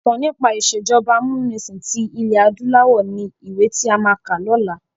Ìtàn nípa ìsèjọba amúnisìn tí ilẹ̀ adúláwọ̀ ni ìwé tí a máa kà ni ọ̀la.